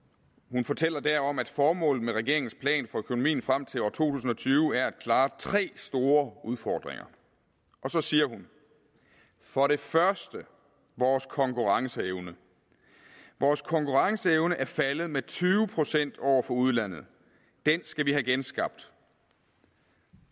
hun fortæller derom at formålet med regeringens plan for økonomien frem til år to tusind og tyve er at klare tre store udfordringer og så siger hun for det første vores konkurrenceevne vores konkurrenceevne er faldet med tyve procent over for udlandet den skal vi have genskabt